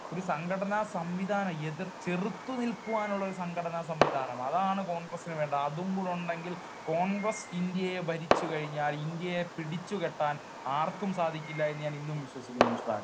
ഒരു സംഘടനാസംവിധാനം, എതിർ, ചെറുത്തു നിൽക്കുവാനുള്ള സംഘടനാസംവിധാനം അതാണ് കോൺഗ്രസ്സിന് വേണ്ടത്. അതും കൂടെ ഉണ്ടെങ്കിൽ കോൺഗ്രസ്സ് ഇന്ത്യയെ ഭരിച്ചു കഴിഞ്ഞാൽ ഇന്ത്യയെ പിടിച്ചുകെട്ടാൻ ആർക്കും സാധിക്കില്ല എന്ന് ഞാൻ ഇന്നും വിശ്വസിക്കുന്നു മിസ്റ്റർ ആൽവിൻ.